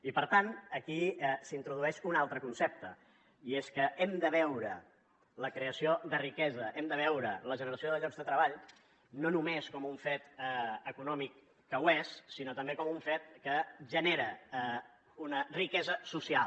i per tant aquí s’introdueix un altre concepte i és que hem de veure la creació de riquesa hem de veure la generació de llocs de treball no només com un fet econòmic que ho és sinó també com un fet que genera una riquesa social